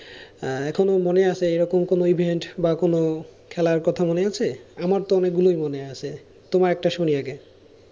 এখনো মনে আছে এরকম কোন event বা এরকম কোন খেলার কথা মনে আছে বা আমার তো অনেক গুলাই মনে আছে, তোমার একটা শুনি আগে।